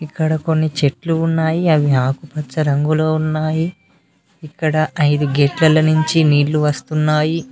ఇక్కడ కొన్ని చెట్లు ఉన్నాయి అవి ఆకుపచ్చ రంగులో ఉన్నాయి ఇక్కడ ఐదు గేట్ ల నుంచి నీళ్లు వస్తున్నాయి.